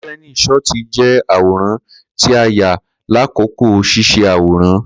Kireni shọti jẹ àwòrán tí o ya lakoko sise àwòrán